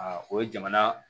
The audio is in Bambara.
o ye jamana